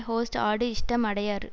host ஆடு இஷ்டம் அடையாறு